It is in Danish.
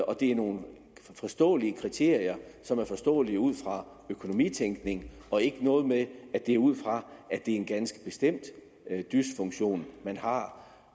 og det er nogle forståelige kriterier som er forståelige ud fra økonomitænkning og ikke noget med at det er ud fra at det er en ganske bestemt dysfunktion man har